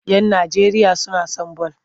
Yan Najeriya suna son bal.